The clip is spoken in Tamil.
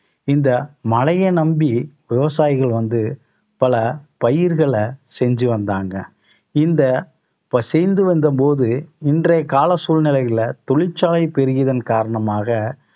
இந்த மழையை நம்பி விவசாயிகள் வந்து பல பயிர்களை செஞ்சு வந்தாங்க. இந்த வந்த போது இன்றைய கால சூழ்நிலையில தொழிற்சாலை பெருகிதன் காரணமாக